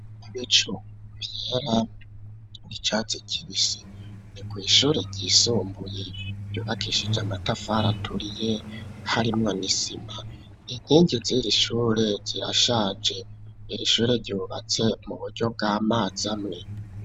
Ibicu vyera, icatsi kibisi ,ni kw'ishure ryisumbuye, ryubakishije amatafari aturiye, harimwo n'isima, inkingi ziri shure zirashaje, iri shure ryubatse mu buryo bw'amazi amwe.